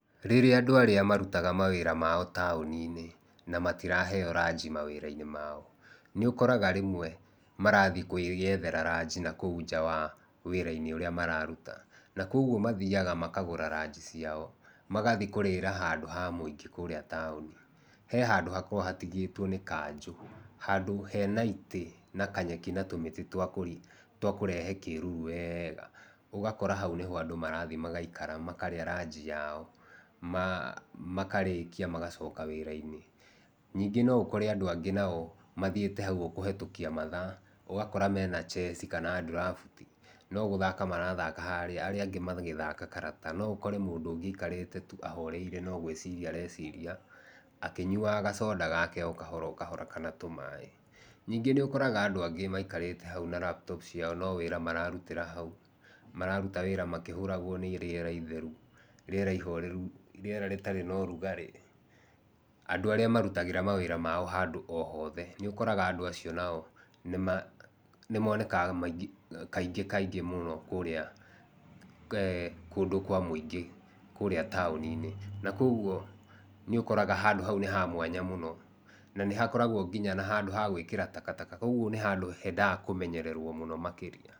Rĩrĩa andũ arĩa marutaga wĩra wao mataũni-inĩ na matiraheo ranji mawĩra-inĩ mao nĩ ũkoraga rĩmwe marathiĩ kwĩyethera ranji na kũu nja wa wĩra-inĩ ũrĩa mararuta, na kwoguo mathiaga makagũra ranji ciao magathiĩ kũrĩra handũ ha mũingĩ kũrĩa taũni, he handũ hakoragwo hatigĩtwo nĩ Kanji handũ hena itĩ na kanyeki na tũmĩtĩ twa kũrehe kĩruru wega ũgakora hau nĩ ho andũ marathiĩ magaikara makarĩa ranji yao makarĩkia magacoka wĩra-inĩ. Ningĩ no ũkore andũ aingĩ nao mathiĩte hau kũhetũkia mathaa ũgakora mena chase kana draft no gũthaka marathaka harĩa rĩrĩa angĩ harĩa marathaka karata, no ũkore mũndũ ũngĩ aikarĩte tu ahoreire no gwĩciria areciria akĩnyuaga gasoda gake o kahora o kahora kana tũma, ningĩ nĩ ũkoraga andũ angĩ maikarĩte hau na laptop ciao no wĩra mararutĩra hau mararuta wĩra makĩhũtagwo nĩ rĩera itheru, rĩera ihoreru, rĩera rĩtarĩ na ũrugarĩ andũ arĩa mararutĩra handũ o hothe nĩ ũkoraga andũ acio nao nĩ monekaga kaingĩ kaingĩ eeh kũrĩa kũndũ kwa mũingĩ na kũu ũguo nĩ ũkoraga nĩ handũ ha mwanya mũno na nĩ ũkoragwo handũ ha gwĩkĩrwo takataka ũguo nĩ handũ hendaga kũmenyerwo mũno makĩria.